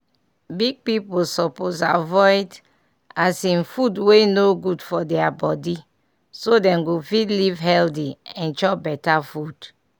big pipiu suppose avoid um food wey no good for deir body so dem go fit live healthy and chop better food.